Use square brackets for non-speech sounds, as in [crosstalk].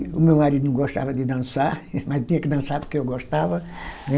E o meu marido não gostava de dançar, [laughs] mas tinha que dançar porque eu gostava, né?